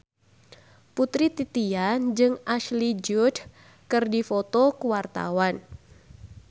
Putri Titian jeung Ashley Judd keur dipoto ku wartawan